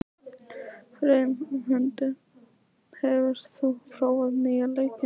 Freymundur, hefur þú prófað nýja leikinn?